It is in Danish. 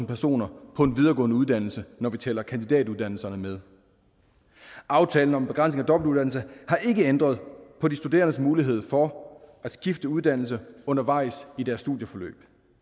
personer på en videregående uddannelse når vi tæller kandidatuddannelserne med aftalen om en begrænsning af dobbeltuddannelse har ikke ændret på de studerendes mulighed for at skifte uddannelse undervejs i deres studieforløb